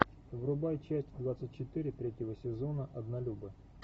врубай часть двадцать четыре третьего сезона однолюбы